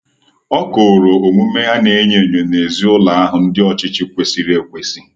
ọ kooro omume ana enyo enyo n'ezi ụlọ ahụ ndi ochichi kwesiri ekwesi